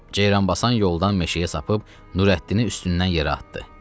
Ceyranbasan yoldan meşəyə sapıb Nurəddini üstündən yerə atdı.